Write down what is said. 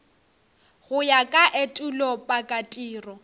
go ya ka etulo pakatiro